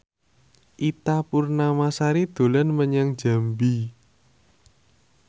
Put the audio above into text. Ita Purnamasari dolan menyang Jambi